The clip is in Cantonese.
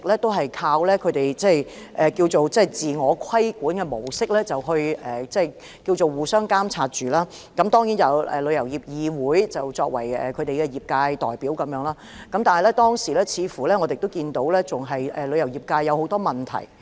業界一直靠自我規管模式來互相監察，並由香港旅遊業議會作為業界代表，但是，我們看到當時旅遊業界仍有很多問題。